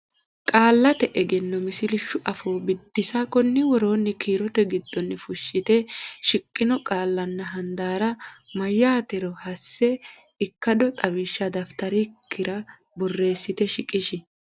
Qaallate Egenno Misilshu Afoo Biddissa Konni woroonni kiirote giddonni fulte shiqqino qaallanna handaarra mayyaatero hasse ikkado xawishsha dafitarikkira borreessite shiqishi.